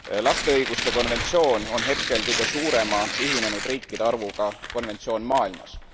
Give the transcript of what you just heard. Lapse õiguste konventsioon on hetkel kõige suurema ühinenud riikide arvuga konventsioon maailmas.